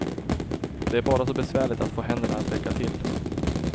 Det är bara så besvärligt att få händerna att räcka till.